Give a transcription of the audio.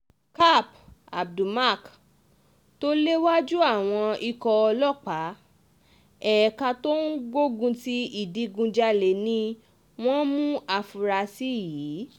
kap abdulmak tó léwájú àwọn ikọ̀ ọlọ́pàá ẹ̀ka tó ń gbógun ti ìdígunjalè ni wọ́n mú àfúrásì yìí